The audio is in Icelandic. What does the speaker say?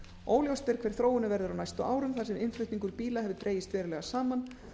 óljóst er hver þróunin verður á næstu árum þar sem innflutningar bíla hefur dregist verulega saman